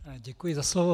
Děkuji za slovo.